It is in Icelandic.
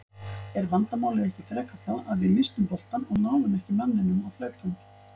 Er vandamálið ekki frekar það að við misstum boltann og náðum ekki manninum á hlaupum?